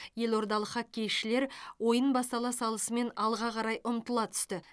елордалық хоккейшілер ойын бастала салысымен алға қарай ұмтыла түсті